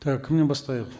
так кімнен бастайық